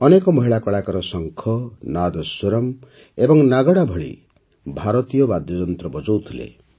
ଅନେକ ମହିଳା କଳାକାର ଶଙ୍ଖ ନାଦସ୍ୱରମ୍ ଏବଂ ନାଗଡ଼ା ଭଳି ଭାରତୀୟ ବାଦ୍ୟଯନ୍ତ୍ର ବଜାଉଥିଲେ